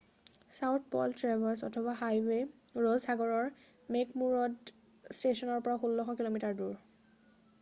South Pole Traverse অথবা highway Ross সাগৰৰ McMurdo ষ্টেচনৰ পৰা 1600 কিঃ মিঃ দূৰ।